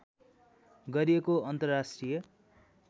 गरिएको अन्तर्राष्ट्रिय